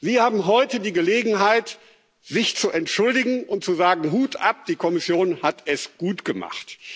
Sie haben heute die Gelegenheit, sich zu entschuldigen und zu sagen Hut ab, die Kommission hat es gut gemacht.